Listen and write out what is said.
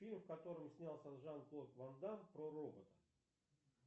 фильм в котором снялся жан клод ван дамм про робота